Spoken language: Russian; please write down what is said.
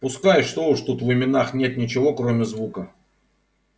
пускай что уж тут в именах нет ничего кроме звука